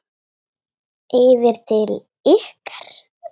Yfir til ykkar?